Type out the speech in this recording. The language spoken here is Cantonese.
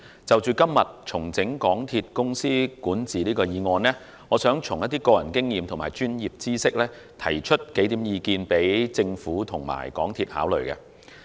就着今天"重整港鐵公司管治"議案，我想根據個人經驗和專業知識，提出數項意見供政府和港鐵公司考慮。